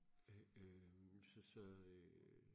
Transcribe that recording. øh så så øh